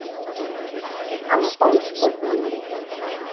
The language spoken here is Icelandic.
Hann var bálskotinn í henni.